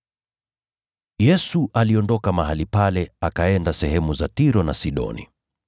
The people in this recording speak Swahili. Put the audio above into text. Yesu aliondoka mahali pale, akaenda sehemu za Tiro na Sidoni.